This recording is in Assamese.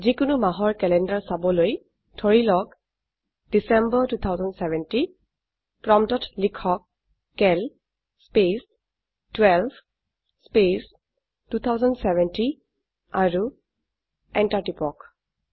যিকোনো মাহৰ ক্যালেন্ডাৰ চাবলৈ ধৰিলওক ডিচেম্বৰ 2070 প্ৰম্পটত লিখক চিএএল স্পেচ 12 স্পেচ 2070 আৰু এন্টাৰ টিপক